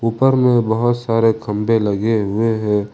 ऊपर में बहुत सारे खंभे लगे हुए हैं।